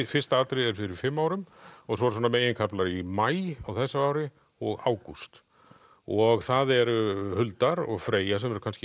fyrsta atriðið er fyrir fimm árum og svo eru svona meginkaflar í maí á þessu ári og ágúst og það eru Huldar og Freyja sem eru kannski